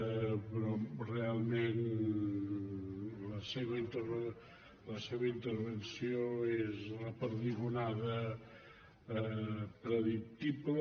però realment la seva intervenció és la perdigonada predictible